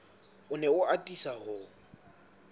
o ne a atisa ho